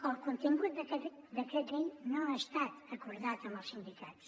el contingut d’aquest decret llei no ha estat acordat amb els sindicats